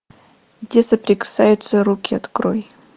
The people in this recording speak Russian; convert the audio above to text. где соприкасаются руки открой